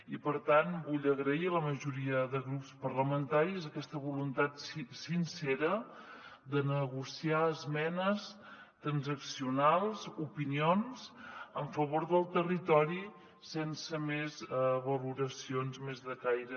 i per tant vull agrair a la majoria de grups parlamentaris aquesta voluntat sincera de negociar esmenes transaccionals opinions en favor del territori sense més valoracions més de caire